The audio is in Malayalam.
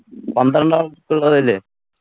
പന്ത്രണ്ടാൾ പിള്ളരില്ലെ